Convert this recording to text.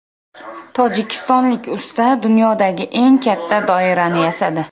Tojikistonlik usta dunyodagi eng katta doirani yasadi.